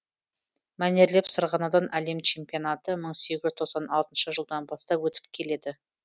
мәнерлеп сырғанаудан әлем чемпионаты мың сегіз жүз тоқсан алтыншы жылдан бастап өтіп келеді